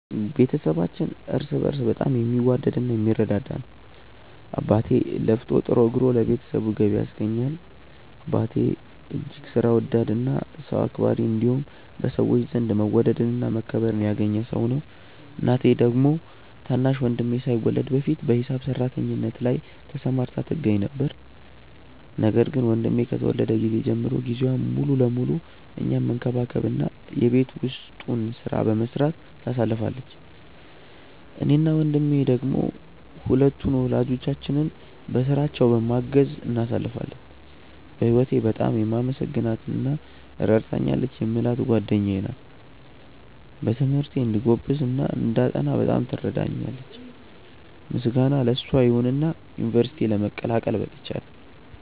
ቤተሰባችን እርስ በእርስ በጣም የሚዋደድ እና የሚረዳዳ ነው። አባቴ ለፍቶ ጥሮ ግሮ ለቤተሰቡ ገቢ ያስገኛል። አባቴ እጅግ ሥራ ወዳድ እና ሰው አክባሪ እንዲሁም በሰዎች ዘንድ መወደድን እና መከበርን ያገኘ ሰው ነው። እናቴ ደግሞ ታናሽ ወንድሜ ሳይወለድ በፊት በሂሳብ ሰራተኝነት ላይ ተሰማርታ ትገኛ ነበር፤ ነገር ግን ወንድሜ ከተወለደ ጊዜ ጀምሮ ጊዜዋን ሙሉ ለሙሉ እኛን መንከባከብ እና የቤት ውስጡን ሥራ በመስራት ታሳልፋለች። እኔ እና ወንድሜ ደሞ ሁለቱን ወላጆቻችንን በሥራቸው በማገዝ እናሳልፋለን። በህወቴ በጣም የማመሰግናት እና ረድታኛለች የምላት ጓደኛዬ ናት። በትምህርቴ እንድጎብዝ እና እንዳጠና በጣም ትረዳኛለች። ምስጋና ለሷ ይሁንና ዩንቨርስቲ ለመቀላቀል በቅቻለው።